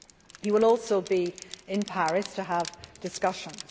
He will also be in Paris to have discussions.